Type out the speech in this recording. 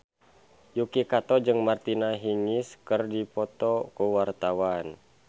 Yuki Kato jeung Martina Hingis keur dipoto ku wartawan